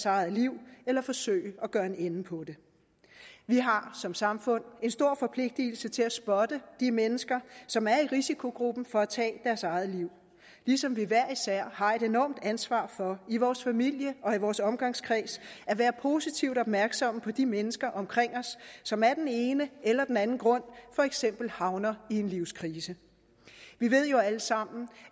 eget liv eller forsøge at gøre en ende på det vi har som samfund en stor forpligtelse til at spotte de mennesker som er i risikogruppen for at tage deres eget liv ligesom vi hver især har et enormt ansvar for i vores familie og i vores omgangskreds at være positivt opmærksomme på de mennesker omkring os som af den ene eller den anden grund for eksempel havner i en livskrise vi ved jo alle sammen